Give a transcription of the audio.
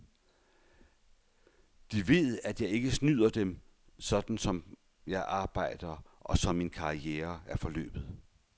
De ved, at jeg ikke snyder dem, sådan som jeg arbejder, og som min karriere er forløbet.